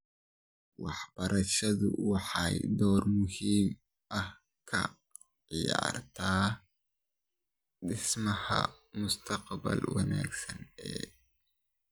Waxbarashadu waxay door muhiim ah ka ciyaartaa dhismaha mustaqbal wanaagsan ee .